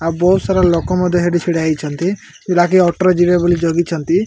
ଆଉ ବହୁତ୍ ସାରା ଲୋକ ମଧ୍ୟ ହେଟି ଛିଡ଼ା ହେଇଛନ୍ତି ଲାଗେ ଅଟୋ ରେ ଯିବେ ବୋଲି ଜଗିଛନ୍ତି।